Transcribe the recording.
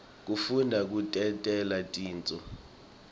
kufundza kutentela tintfo